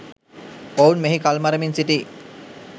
ඔවුන් මෙහි කල්මරමින් සිටී